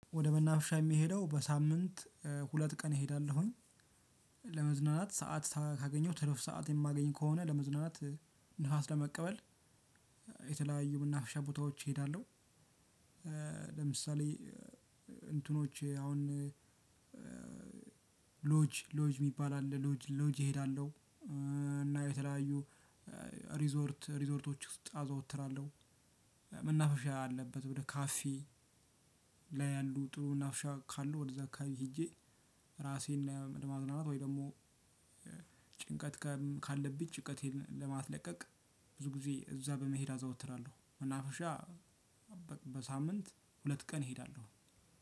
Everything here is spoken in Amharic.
ወደ መናፍሻ የሚሄደው በሳምንት ሁለት ቀን እሄዳለሁኝ ለመዝናናት ሰዓት ካገኘሁት ትርፍ ሰዓት የማገኝ ከሆነ ለመዝናናት ንፋስ ለመቀበል የተለያዩ መናፍሻ ቦታዎች እሄዳለሁ። ለምሳሌ እንትኖቼ አሁን ሎጅ ሎጅ የሚባል አለ ሎጅ ሎጅ እሄዳለሁ እና የተለያዩ ሪዞርት ሪዞርቶች ውስጥ አዘወትራለሁ መናፍሻ አለበት ወደ ካፌ ላይ ያሉ ጥሩ መናፍሻ ካሉ ወደዛ አከባቢ ሂጄ። ራሴን ለማዝናናት ወይ ደግሞ ጭንቀት ካለብኝ ጭቀቴን ለማስለቀቅ ብዙ ጊዜ እዛ በመሄድ አዘወትራለሁ መናፍሻ። በሳምንት ሁለት ቀን እሄዳለሁ።